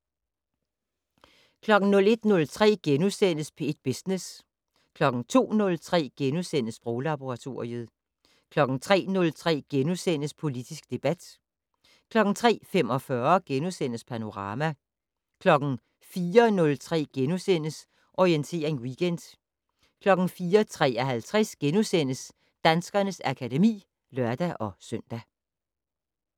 01:03: P1 Business * 02:03: Sproglaboratoriet * 03:03: Politisk debat * 03:45: Panorama * 04:03: Orientering Weekend * 04:53: Danskernes akademi *(lør-søn)